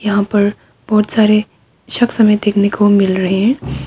यहां पर बहुत सारे शख्स हमें देखने को मिल रहे हैं।